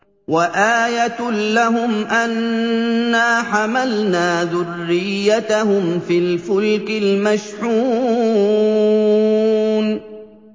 وَآيَةٌ لَّهُمْ أَنَّا حَمَلْنَا ذُرِّيَّتَهُمْ فِي الْفُلْكِ الْمَشْحُونِ